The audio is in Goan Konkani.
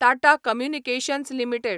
Tata communications limited